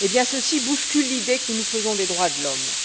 Ceci bouscule l'idée que nous nous faisons des droits de l'homme.